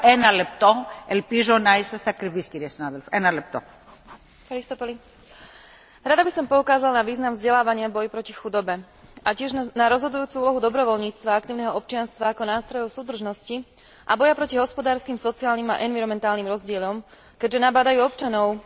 Rada by som poukázala na význam vzdelávania v boji proti chudobe a tiež na rozhodujúcu úlohu dobrovoľníctva a aktívneho občianstva ako nástrojov súdržnosti a boja proti hospodárskym, sociálnym a environmentálnym rozdielom, keďže nabádajú občanov, aby sa zapojili do verejného života prostredníctvom športu, kultúry, umenia, sociálnych a politických aktivít.